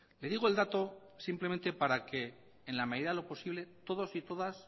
le digo el dato simplemente para que en la medida de lo posible todos y todas